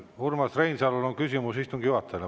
Urmas Reinsalul on küsimus istungi juhatajale.